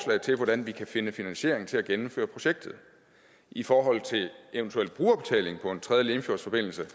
til hvordan vi kan finde finansiering til at gennemføre projektet i forhold til eventuel brugerbetaling på en tredje limfjordsforbindelse